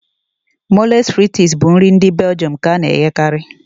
Mòles fritịs s bụ nri ndị Beljọm nke a na-eghekarị